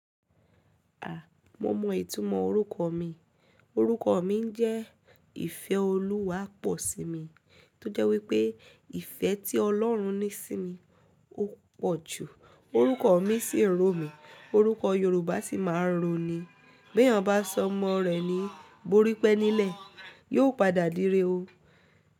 A! Mo mọ ìtumọ̀ orúkọ mi. Orúkọ mi jẹ́ ìfẹ́ Olúwa pọ̀ sí mi, tó jẹ́ wípé ìfẹ́ tí Ọlọ́run ní sí mi ó pọ̀ jù. Orúkọ mi sì ń ro mi, orúkọ Yorùbá sì máa ń roni. Bí èèyàn bá sọ ọmọ rẹ̀ ní Borípénílẹ̀, yóò padà dire o.